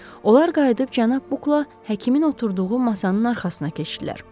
Onlar qayıdıb cənab Bukla həkimin oturduğu masanın arxasına keçdilər.